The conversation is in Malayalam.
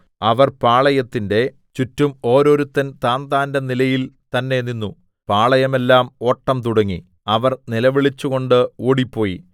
അവർ പാളയത്തിന്റെ ചുറ്റും ഓരോരുത്തൻ താന്താന്റെ നിലയിൽ തന്നേ നിന്നു പാളയമെല്ലാം ഓട്ടം തുടങ്ങി അവർ നിലവിളിച്ചുകൊണ്ട് ഓടിപ്പോയി